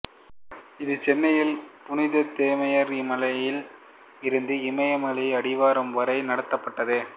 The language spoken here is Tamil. இது சென்னையில் புனித தோமையார் மலையில் இருந்து இமயமலை அடிவாரம் வரை நடத்தப்பட்டது